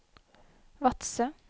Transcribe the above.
Vadsø